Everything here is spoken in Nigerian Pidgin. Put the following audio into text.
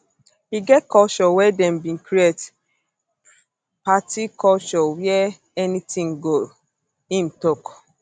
e get culture wey dem bin create um party culture wia um anytin go im tok